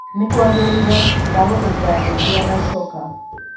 nĩ kwagĩrĩire! Ndagũthaitha ndeithia na coka